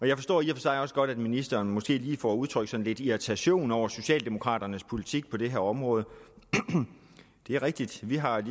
jeg forstår i og for sig også godt at ministeren måske lige får udtrykt lidt irritation over socialdemokraternes politik på det her område det er rigtigt at vi har